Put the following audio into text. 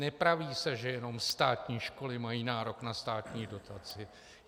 Nepraví se, že jenom státní školy mají nárok na státní dotaci.